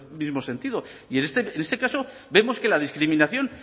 mismo sentido y en este caso vemos que la discriminación